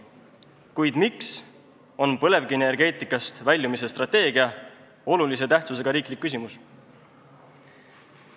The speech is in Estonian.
Kuid miks on põlevkivienergeetikast väljumise strateegia olulise tähtsusega riiklik küsimus?